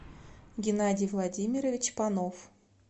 геннадий владимирович панов